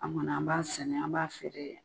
An kɔni an b'a sɛnɛ an b'a feere dɛ.